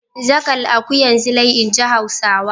Zaƙal akuyar Zilai, in ji Hausawa.